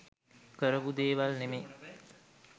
කරපු දේවල් නෙමේ.